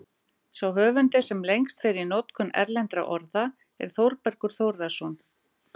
Sá höfundur, sem lengst fer í notkun erlendra orða, er Þórbergur Þórðarson.